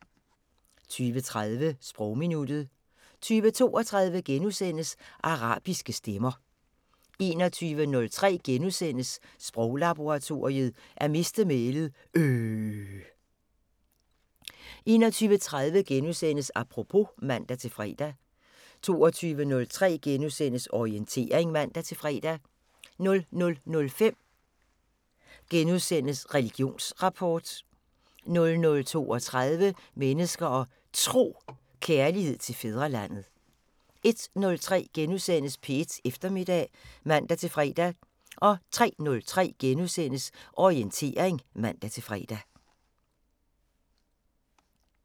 20:30: Sprogminuttet 20:32: Arabiske stemmer * 21:03: Sproglaboratoriet: At miste mælet - øhhhhhhhh * 21:30: Apropos *(man-fre) 22:03: Orientering *(man-fre) 00:05: Religionsrapport * 00:32: Mennesker og Tro: Kærlighed til fædrelandet * 01:03: P1 Eftermiddag *(man-fre) 03:03: Orientering *(man-fre)